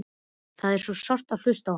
Það er svo sárt að hlusta á hann.